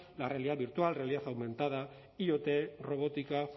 la realidad virtual realidad aumentada iot robótica